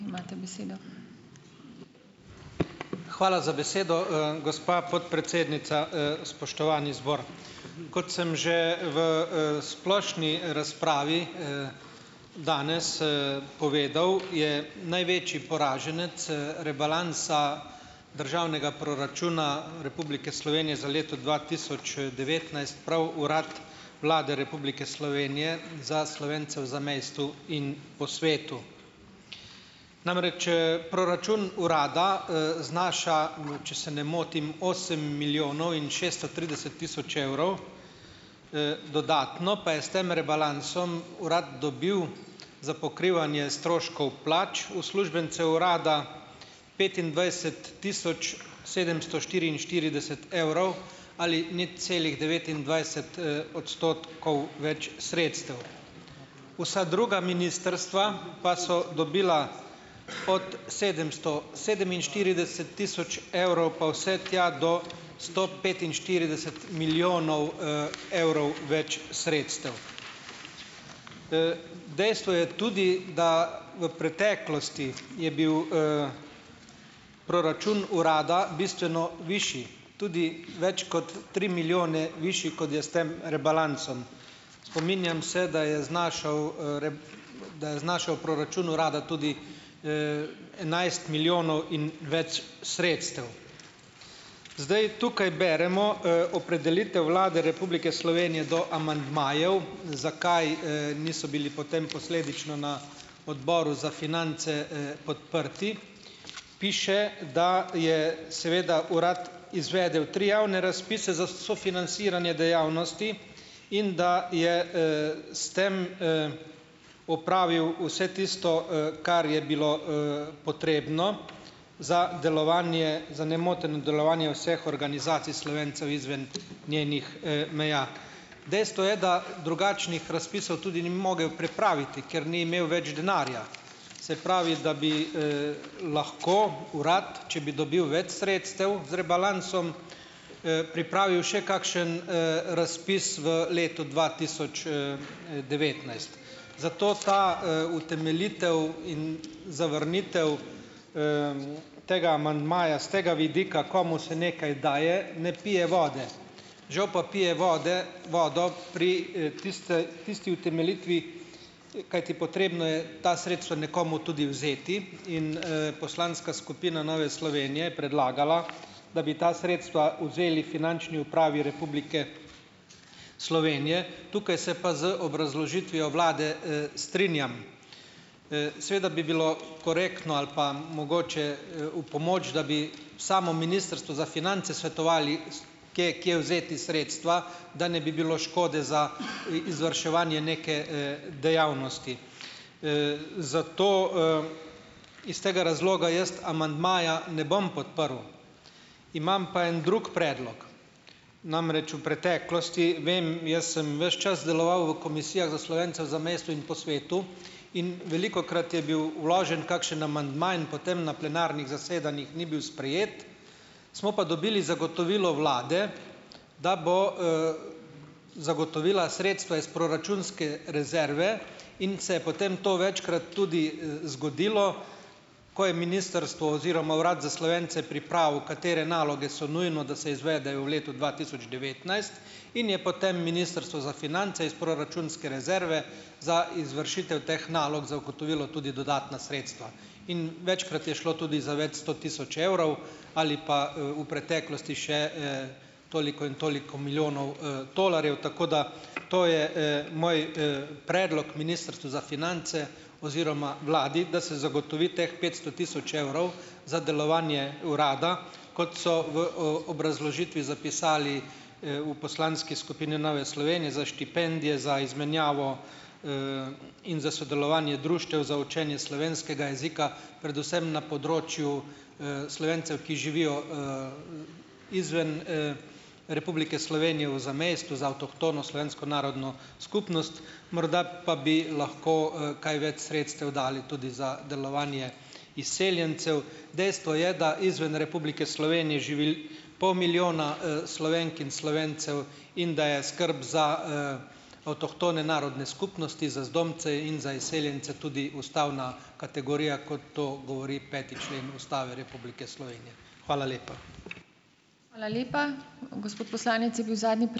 Hvala za besedo, gospa podpredsednica. Spoštovani zbor. Kot sem že v, splošni razpravi, danes, povedal, je največji poraženec, Rebalansa državnega proračuna Republike Slovenije za leto dva tisoč, devetnajst prav Urad Vlade Republike Slovenije za Slovence v zamejstvu in po svetu. Namreč, proračun urada, znaša, u, če se ne motim, osem milijonov in šeststo trideset tisoč evrov, dodatno pa je s tem rebalansom urad dobil za pokrivanje stroškov plač uslužbencev urada petindvajset tisoč sedemsto štiriinštirideset evrov ali nič celih devetindvajset, odstotkov več sredstev. Vsa druga ministrstva pa so dobila od sedemsto sedeminštirideset tisoč evrov, pa vse tja do sto petinštirideset milijonov, evrov več sredstev. Dejstvo je tudi, da v preteklosti je bil, proračun urada bistveno višje, tudi več kot tri milijone višji, kot je s tem rebalansom. Spominjam se, da je znašal, da je znašal proračun urada tudi, enajst milijonov in več sredstev. Zdaj tukaj beremo, opredelitev Vlade Republike Slovenije do amandmajev, zakaj, niso bili potem posledično na Odboru za finance, podprti. Piše, da je seveda uradno izvedel tri javne razpise za sofinanciranje dejavnosti in da je, s tem, opravil vse tisto, kar je bilo, potrebno za delovanje za nemoteno delovanje vseh organizacij Slovencev izven njenih, meja. Dejstvo je, da drugačnih razpisov tudi ni mogel pripraviti, ker ni imel več denarja. Se pravi, da bi, lahko urad, če bi dobil več sredstev z rebalansom, pripravil še kakšen, razpis v letu dva tisoč, devetnajst. Zato ta, utemeljitev in zavrnitev, tega amandmaja s tega vidika, komu se nekaj daje, ne pije vode. Žal pa pije vode vodo pri, tiste tisti utemeljitvi, kajti potrebno je ta sredstva nekomu tudi vzeti. In, poslanska skupina Nove Slovenije je predlagala, da bi ta sredstva vzeli Finančni upravi Republike Slovenije. Tukaj se pa z obrazložitvijo vlade, strinjam. Seveda bi bilo korektno ali pa mogoče, v pomoč, da bi samo Ministrstvo za finance svetovali, s kje kje vzeti sredstva, da ne bi bilo škode za izvrševanje neke, dejavnosti. Zato, iz tega razloga jaz amandmaja ne bom podprl. Imam pa en drug predlog, namreč v preteklosti vem, jaz sem ves čas deloval v komisijah za Slovence v zamejstvu in po svetu in velikokrat je bil vložen kakšen amandma in potem na plenarnih zasedanjih ni bil sprejet, smo pa dobili zagotovilo vlade, da bo, zagotovila sredstva iz proračunske rezerve, in se je potem to večkrat tudi, zgodilo, ko je ministrstvo oziroma Urad za Slovence pripravil katere naloge so nujno, da se izvedejo v letu dva tisoč devetnajst, in je potem ministrstvo za finance iz proračunske rezerve za izvršitev teh nalog zagotovilo tudi dodatna sredstva. In večkrat je šlo tudi za več sto tisoč evrov ali pa, v preteklosti še, toliko in toliko milijonov, tolarjev. Tako da to je, moj, predlog Ministrstvu za finance oziroma vladi, da se zagotovi teh petsto tisoč evrov za delovanje urada, kot so v, obrazložitvi zapisali, v poslanski skupini Nove Slovenije, za štipendije, za izmenjavo, in za sodelovanje društev za učenje slovenskega jezika, predvsem na področju, Slovencev, ki živijo, izven, Republike Slovenije v zamejstvu za avtohtono slovensko narodno skupnost. Morda pa bi lahko, kaj več sredstev dali tudi za delovanje izseljencev. Dejstvo je, da izven Republike Slovenije živi pol milijona, Slovenk in Slovencev in da je skrb za, avtohtone narodne skupnosti, za zdomce in za izseljence tudi ustavna kategorija, kot to govori peti člen Ustave Republike Slovenije. Hvala lepa.